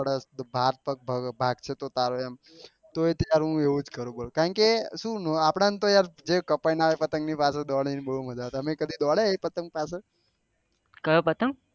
તું ભાગશે તોં તારે અમ હું એવું જ કરું કારણ કે આપળે તો જે કપાઈ ને આવે ને એ પતંગ ની પાછળ દોડી ને બહુ મજા આવે